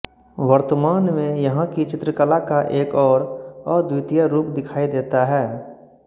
वर्तमान में यहॉं की चित्रकला का एक अौर अद्वितीय रूप दिखाई देता है